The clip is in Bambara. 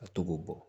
A to k'o bɔ